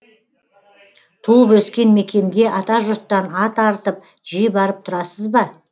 туып өскен мекенге атажұрттан ат арытып жиі барып тұрасыз ба